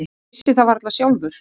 Ég vissi það varla sjálfur.